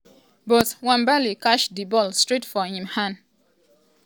but nwabali catch di ball straight for im hand.